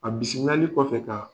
A bisimilayali kɔfɛ ka